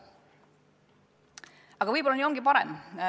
Aga võib-olla ongi nii parem.